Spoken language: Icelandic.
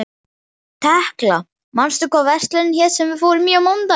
Tekla, manstu hvað verslunin hét sem við fórum í á mánudaginn?